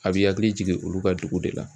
A bi hakili jigin olu ka dugu de la.